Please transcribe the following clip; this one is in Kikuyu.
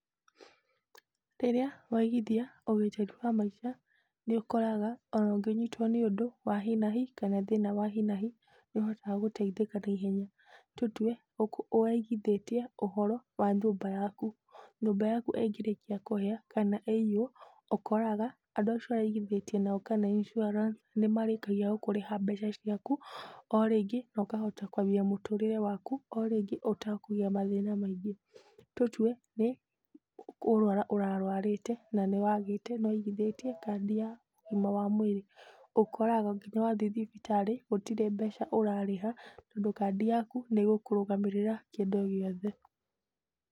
Rĩrĩa waigithia ũgitĩri wa maica nĩ ũkoraga ona ũngĩnyitwo nĩ ũndũ wa hinahi kana thĩna wa hinahi nĩ ũhotaga gũteithĩka na ihenya, tũtwe ũraigithĩtie ũhoro wa nyũmba yaku, nyũmba yaku ĩngĩrĩkĩa kũhia kana ĩiywo ũkoraga andũ acio ũraigithĩtie nao kana Insuarance nĩ marĩkagĩa gũkũrĩha mbeca ciaku o rĩngĩ na ũkahota kwambia mũtũrĩre waku o rĩngĩ ũtakũgĩa mathĩna maingĩ, tũtwe nĩ kũrwara ũrarwarĩte na nĩ waigithĩtie kandi ya ũgima wa mwĩrĩ ũkoraga nginya wathie thibitarĩ gũtirĩ mbeca ũrarĩha tondũ kandi yaku nĩ ĩgũkũrũgamĩrĩra kĩndũ gĩothe.